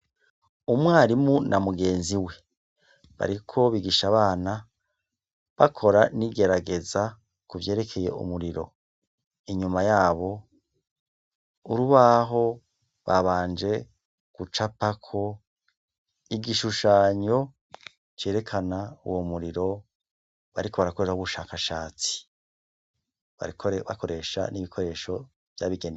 Umwarimu na mugenzi we bariko bigisha abana bakora n'igerageza kuvyerekeye umuriro. Inyuma yabo, urubaho babanje gucapako igishushanyo cerekana uwo muriro bariko barakorerako ubushakashatsi. Bariko bakoresha n'ibikoresho vyabigenewe.